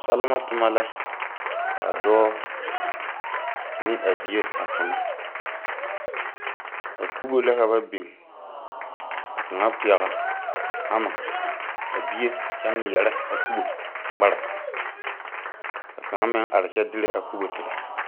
Salma tuma la kaa doɔ ne a bie a tuna a kubo la ka ba bing ka kanga pɛgle hama a gbi kye ngmiree a kubo ngmara ka kanga meng arẽ kye dire a kubo tire.